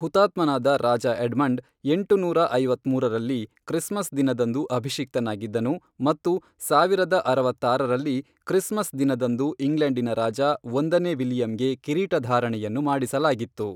ಹುತಾತ್ಮನಾದ ರಾಜ ಎಡ್ಮಂಡ್, ಎಂಟುನೂರ ಐವತ್ಮೂರರಲ್ಲಿ, ಕ್ರಿಸ್ಮಸ್ ದಿನದಂದು ಅಭಿಷಿಕ್ತನಾಗಿದ್ದನು ಮತ್ತು ಸಾವಿರದ ಅರವತ್ತಾರರಲ್ಲಿ ಕ್ರಿಸ್ಮಸ್ ದಿನದಂದು ಇಂಗ್ಲೆಂಡಿನ ರಾಜ ಒಂದನೇ ವಿಲಿಯಂಗೆ ಕಿರೀಟಧಾರಣೆಯನ್ನು ಮಾಡಿಸಲಾಗಿತ್ತು.